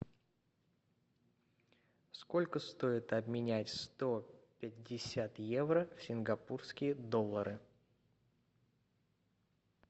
сколько стоит обменять сто пятьдесят евро в сингапурские доллары